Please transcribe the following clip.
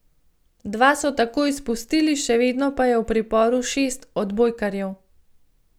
Dva so takoj izpustili, še vedno pa je v priporu šest odbojkarjev.